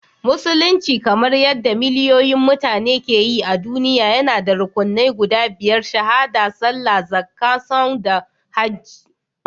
Musulunci, kamar yadda miliyoyin mutane ke yi a duniya, yana da rukunnan guda biyar—Shahaɗa, Sallah, Zakka, Sawm, da Hajji